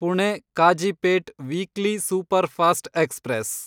Pune Kazipet weekly superfast express